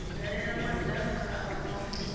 dalela madaka a muvhuso vha